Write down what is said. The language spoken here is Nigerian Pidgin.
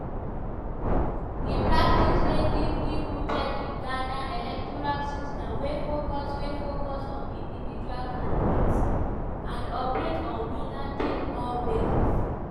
di practice dey deeply rooted in ghana electoral system wey focus wey focus on individual candidates and operate on winner-take-all basis.